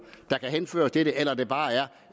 der kan henføres til det eller om det bare er